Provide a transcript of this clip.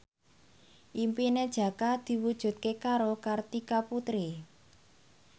impine Jaka diwujudke karo Kartika Putri